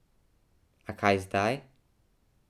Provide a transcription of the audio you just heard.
A kaj zdaj?